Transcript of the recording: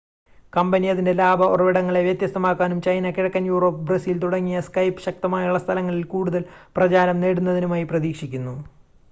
company അതിൻ്റെ ലാഭ ഉറവിടങ്ങളെ വ്യത്യസ്തമാക്കാനും ചൈന കിഴക്കൻ യൂറോപ്പ് ബ്രസീൽ തുടങ്ങിയ skype ശക്തമായുള്ള സ്ഥലങ്ങളിൽ കൂടുതൽ പ്രചാരം നേടുന്നതിനുമായി പ്രതീക്ഷിക്കുന്നു